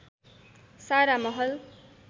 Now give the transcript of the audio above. सारा महल